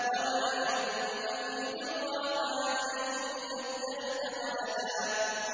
وَمَا يَنبَغِي لِلرَّحْمَٰنِ أَن يَتَّخِذَ وَلَدًا